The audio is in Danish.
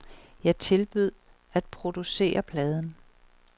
Jeg tilbød at producere pladen.